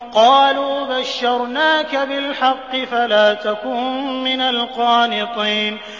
قَالُوا بَشَّرْنَاكَ بِالْحَقِّ فَلَا تَكُن مِّنَ الْقَانِطِينَ